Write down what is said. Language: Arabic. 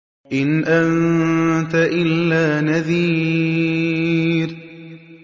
إِنْ أَنتَ إِلَّا نَذِيرٌ